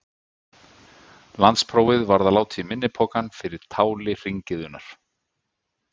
Landsprófið varð að láta í minni pokann fyrir táli hringiðunnar.